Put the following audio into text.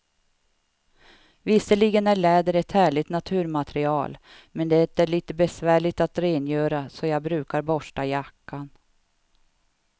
Visserligen är läder ett härligt naturmaterial, men det är lite besvärligt att rengöra, så jag brukar borsta jackan.